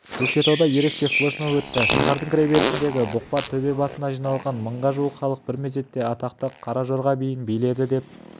көкшетауда ерекше флешмоб өтті шаһардың кіреберісіндегі бұқпа төбе басына жиналған мыңға жуық халық бір мезетте атақты қара жорға биін биледі деп